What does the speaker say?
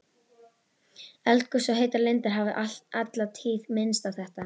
Eldgos og heitar lindir hafa alla tíð minnt á þetta.